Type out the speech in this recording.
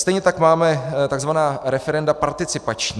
Stejně tak máme tzv. referenda participační.